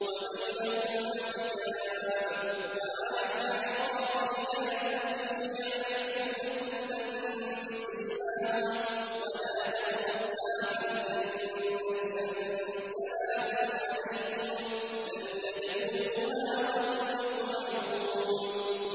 وَبَيْنَهُمَا حِجَابٌ ۚ وَعَلَى الْأَعْرَافِ رِجَالٌ يَعْرِفُونَ كُلًّا بِسِيمَاهُمْ ۚ وَنَادَوْا أَصْحَابَ الْجَنَّةِ أَن سَلَامٌ عَلَيْكُمْ ۚ لَمْ يَدْخُلُوهَا وَهُمْ يَطْمَعُونَ